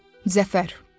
Zəfər.